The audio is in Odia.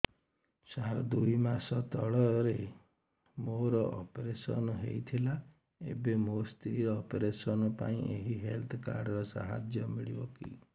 ସାର ଦୁଇ ମାସ ତଳରେ ମୋର ଅପେରସନ ହୈ ଥିଲା ଏବେ ମୋ ସ୍ତ୍ରୀ ର ଅପେରସନ ପାଇଁ ଏହି ହେଲ୍ଥ କାର୍ଡ ର ସାହାଯ୍ୟ ମିଳିବ କି